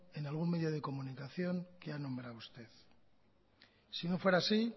en algún medio de comunicación que ha nombrado usted si no fuera así